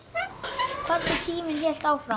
Hvernig tíminn hélt áfram.